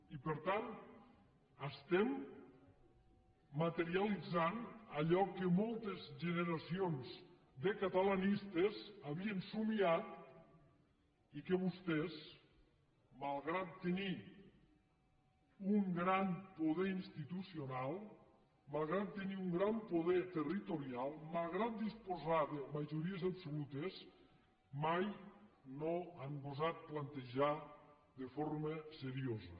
i per tant estem materialitzant allò que moltes generacions de catalanistes havien somiat i que vostès malgrat tenir un gran poder institucional malgrat tenir un gran poder territorial malgrat disposar de majories absolutes mai no han gosat plantejar de forma seriosa